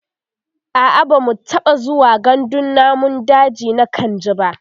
a'a bamu taɓa zuwa gandun namun daji na kainji ba